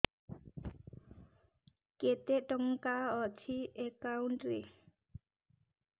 କେତେ ଟଙ୍କା ଅଛି ଏକାଉଣ୍ଟ୍ ରେ